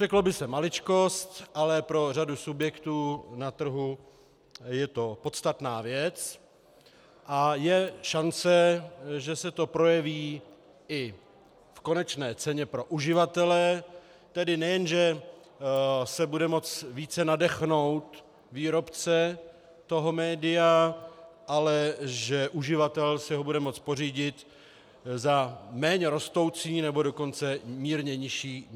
Řeklo by se maličkost, ale pro řadu subjektů na trhu je to podstatná věc, a je šance, že se to projeví i v konečné ceně pro uživatele, tedy nejen že se bude moci více nadechnout výrobce toho média, ale že uživatel si ho bude moci pořídit za méně rostoucí, nebo dokonce mírně nižší cenu.